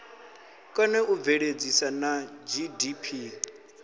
kone u bveledzisa na gdp